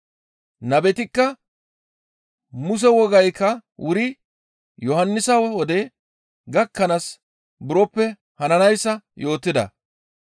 Nabetikka Muse wogaykka wuri Yohannisa wode gakkanaas buroppe hananayssa yootida.